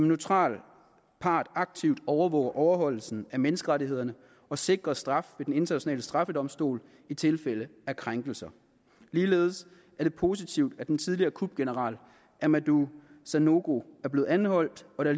neutral part aktivt overvåger overholdelsen af menneskerettighederne og sikrer straf ved den internationale straffedomstol i tilfælde af krænkelser ligeledes er det positivt at den tidligere kupgeneral amadou sanogo er blevet anholdt og